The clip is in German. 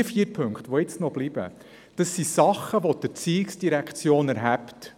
Die vier Punkte, die verbleiben, betreffen Dinge, welche die ERZ erhebt.